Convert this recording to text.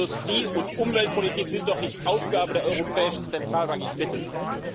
Industrie und Umweltpolitik sind doch nicht Aufgabe der Europäischen Zentralbank, ich bitte Sie!